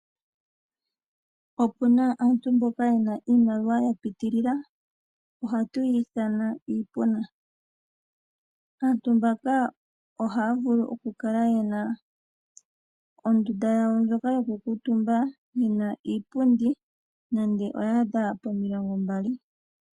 Opuna aantu mboka yena iimaliwa ya pitilila ohatu yi ithana iipona. Aantu mbaka ohaya vulu okukala yena ondunda yawo ndjoka yo ku kuutumba, yina iipundi nande oya adha pomilongo mbali.